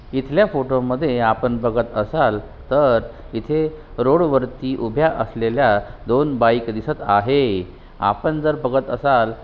इथल्या फोटो मध्ये आपण बघत असाल तर इथे रोड वरती उभ्या असलेल्या दोन बाइक दिसत आहे आपण जर बघत असाल.